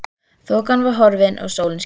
Þokan var horfin og sólin skein.